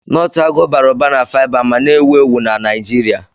Nọtụ agụ bara ụba na faiba ma na-ewu ewu na Naijiria.